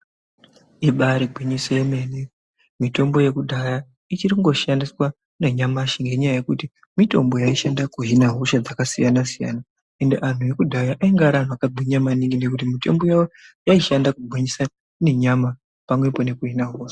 Ibari gwinyiso yemene mitombo yekudhara ichirikungoshandiswa nanyamashi ngenyaya yekuti mitombi yaishanda kuhina hosha dzakasiyana siyana ende antu ekudhara aivye antu akagwinya maningi nekuti mitombo yawo yaishanda kugwinyisa nenyama pamwepo nokuhina hosha